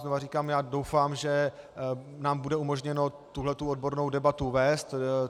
Znovu říkám, já doufám, že nám bude umožněno tuhle odbornou debatu vést.